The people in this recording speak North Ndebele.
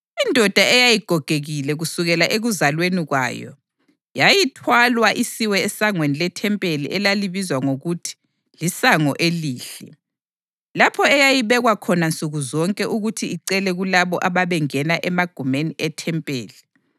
Indoda eyayigogekile kusukele ekuzalweni kwayo, yayithwalwa isiwe esangweni lethempeli elalibizwa ngokuthi liSango Elihle, lapho eyayibekwa khona nsuku zonke ukuthi icele kulabo ababengena emagumeni ethempeli.